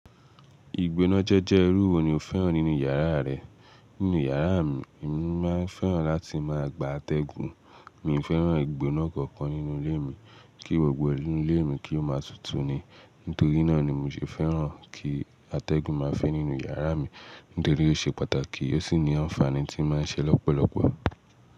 Ìgbónájé jẹ́ irú wo ni o fẹ́ràn nínú yàrá rẹ? Nínú yàrá mi, èmi máa ń fẹ́ràn láti máa gba atẹ́gùn. Mi ò fẹ́ràn ìgbóná kankan nínú ilé mi, kí gbogbo inú ilé mi kí ó máa tutù ni. Nítorí náà ni mi ò ṣe fẹ́ràn kí atẹ́gùn máa fẹ́ nínú yàrá mi. Nítorí ó ṣe pàtàkì ó sì ní àǹfààní tí ó máa ń ṣe lọ́pọ̀lọpọ̀.